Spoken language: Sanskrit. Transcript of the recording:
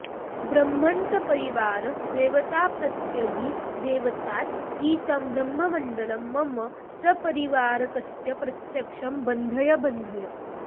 ब्रह्मन् सपरिवार देवताप्रत्यधिदेवतासहितं ब्रह्ममण्डलं मम सपरिवारकस्य प्रत्यक्षं बन्धय बन्धय